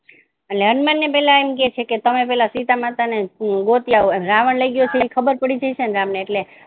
હનુમાન ને પેલા એમ કહે છે તમે પેલા સીતામાતા ને ગોતી આવો કે રાવણ લઈ ગયો છે એ ખબર પડી જાય છે ને રામ એટલે